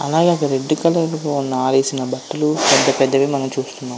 అలాగే అక్కడ రెడ్ కలర్లో ఆరేసిన బట్టలు పెద్ద పెద్దవి మనము చూస్తున్నాము.